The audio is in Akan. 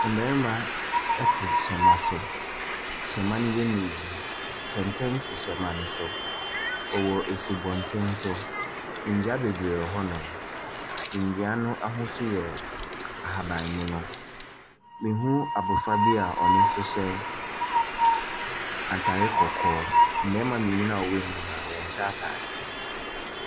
Mmarima te hyɛma so. Hyɛma no yɛ mmienu. Kɛntɛn si hyɛma no so. Ɛwɔ asubɔnten so. Nnua bebree wɔ hɔnom. Nnua no ahosuo yɛ ahaban mono. Mehu abɔfra bi a ɔno nso hyɛ atare kɔkɔɔ. Mmarima mmienu no a wɔanyini no, wɔnhyɛ atadeɛ.